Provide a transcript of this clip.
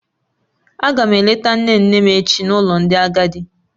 Aga m eleta nne nne m echi n'ụlọ ndị agadi.